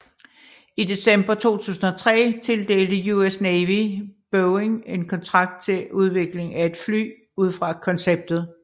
I december 2003 tildelte US Navy Boeing en kontrakt til udvikling af et fly ud fra konceptet